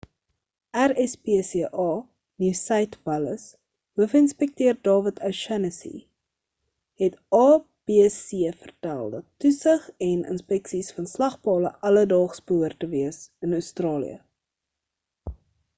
rspca nieu-suid wallis hoofinspekteur dawid o'shannessy het abc vertel dat toesig en inspeksies van slagpale alledaags behoort te wees in australië